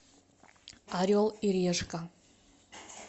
орел и решка